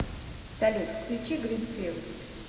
салют включи грин филдс